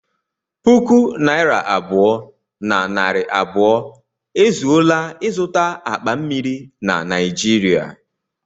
Puku naira abụọ na narị abụọ ezuola ịzụta akpa mmiri na Naịjirịa